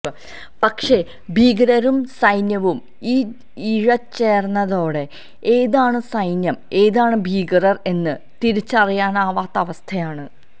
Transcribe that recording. പക്ഷേ ഭീകരരും സൈന്യവും ഇഴചേര്ന്നതോടെ ഏതാണ് സൈന്യം ഏതാണ് ഭീകരര് എന്ന് തിരിച്ചറിയാനാവാത്ത അവസ്ഥയാണ്